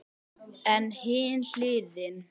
En hin hliðin.